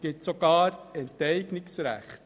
Es gibt sogar Enteignungsrechte.